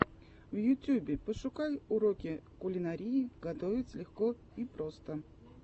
в ютьюбе пошукай уроки кулинарии готовить легко и просто